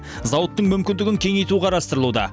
зауыттың мүмкіндігін кеңейту қарастырылуда